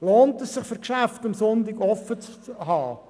Lohnt es sich für Geschäfte, am Sonntag offen zu haben?